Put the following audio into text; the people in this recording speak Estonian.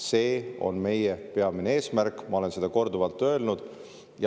See on meie peamine eesmärk, ma olen seda korduvalt öelnud.